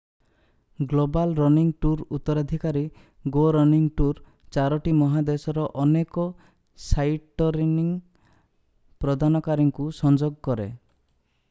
global running ଟୁର୍ର ଉତ୍ତରାଧିକାରୀ go running tour ଚାରୋଟି ମହାଦେଶର ଅନେକ ସାଇଟରନିଂ ପ୍ରଦାନକାରୀଙ୍କୁ ସଂଯୋଗ କରେ